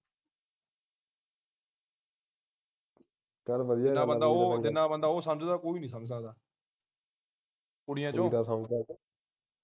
ਜਿੰਨਾ ਬੰਦਾ ਉਹ ਜਿੰਨਾ ਬੰਦਾ ਉਹ ਸਮਝਦਾ ਕੋਈ ਨਹੀਂ ਸਮਝ ਸਕਦਾ ਕੁੜੀਆਂ ਵਿਚੋਂ